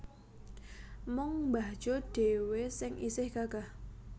Mung mbah Jo dhewe sing isih gagah